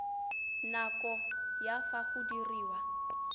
nako ya fa go diriwa